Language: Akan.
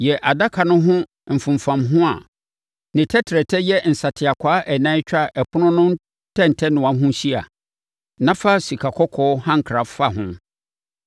Yɛ adaka no ho mfomfamho a ne tɛtrɛtɛ yɛ nsateakwaa ɛnan twa ɛpono no ntɛntɛnoa ho hyia, na fa sikakɔkɔɔ hankra fa ho.